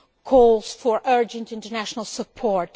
calls for urgent international support.